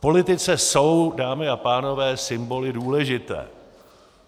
V politice jsou, dámy a pánové, symboly důležité.